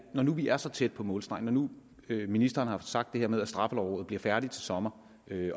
når nu vi er så tæt på målstregen når nu ministeren har sagt det her med at straffelovrådet bliver færdig til sommer